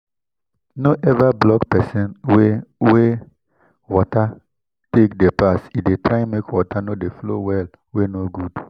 no ever block pesin way wey water take dey pass e dey make water no dey flow well wey no good